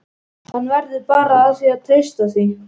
Hann verður bara að treysta því.